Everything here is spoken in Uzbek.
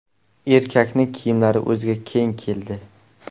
Erkakning kiyimlari o‘ziga keng keldi.